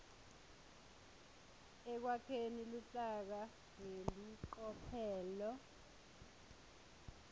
ekwakheni luhlaka ngelicophelo